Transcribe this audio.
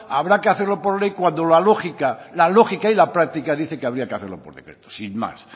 habrá que hacerlo por ley cuando la lógica la lógica y la práctica dice que habría que hacerlo por decreto sin más